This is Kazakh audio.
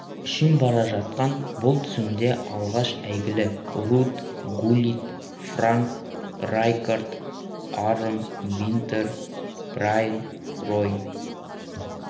үшін бара жатқан бұл тізімде алғаш әйгілі рууд гуллит франк райкаард арон винтер брайан рой